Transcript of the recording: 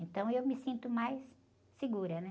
Então eu me sinto mais segura, né?